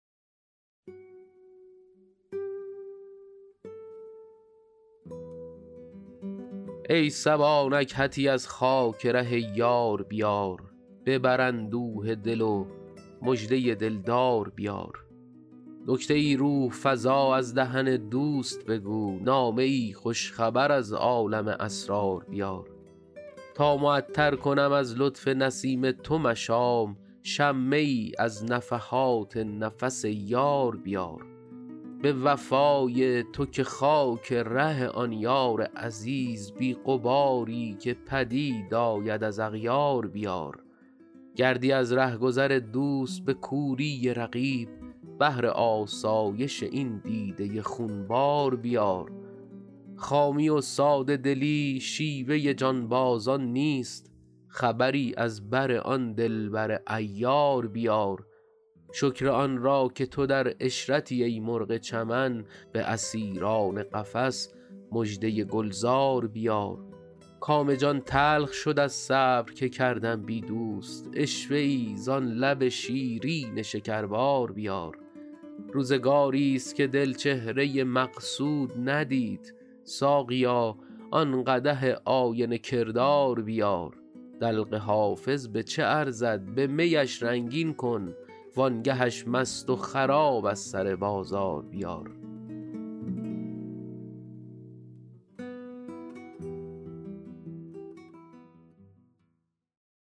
ای صبا نکهتی از خاک ره یار بیار ببر اندوه دل و مژده دل دار بیار نکته ای روح فزا از دهن دوست بگو نامه ای خوش خبر از عالم اسرار بیار تا معطر کنم از لطف نسیم تو مشام شمه ای از نفحات نفس یار بیار به وفای تو که خاک ره آن یار عزیز بی غباری که پدید آید از اغیار بیار گردی از ره گذر دوست به کوری رقیب بهر آسایش این دیده خون بار بیار خامی و ساده دلی شیوه جانبازان نیست خبری از بر آن دل بر عیار بیار شکر آن را که تو در عشرتی ای مرغ چمن به اسیران قفس مژده گل زار بیار کام جان تلخ شد از صبر که کردم بی دوست عشوه ای زان لب شیرین شکربار بیار روزگاریست که دل چهره مقصود ندید ساقیا آن قدح آینه کردار بیار دلق حافظ به چه ارزد به می اش رنگین کن وان گه اش مست و خراب از سر بازار بیار